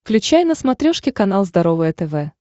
включай на смотрешке канал здоровое тв